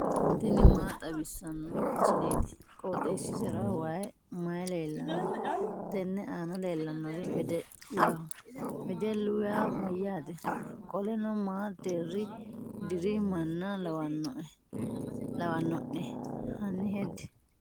tini maa xawissanno misileeti? qooxeessisera may leellanno? tenne aana leellannori wedellaho. wedellu yaa mayyaate? qoleno ma deerri diri manna lawanno'ne? hanni hedde.